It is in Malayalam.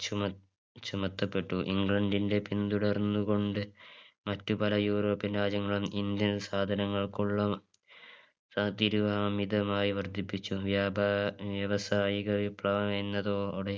ചുമ ചുമത്തപ്പെട്ടു ഇംഗ്ലണ്ടിന്റെ പിന്തുടർന്ന് കൊണ്ട് മറ്റു പല european രാജ്യങ്ങളും indian സാധനകൾക്കുള്ള ഏർ തീരുവ അമിതമായി വർധിപ്പിച്ചു വ്യാപാ വ്യവസായിക വിപ്ലവം എന്നതോടെ